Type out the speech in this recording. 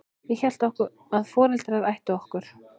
Ég hélt að foreldrar ættu okkur.